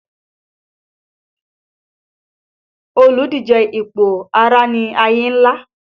Olùdíje sípò Ààrẹ ni Ayinla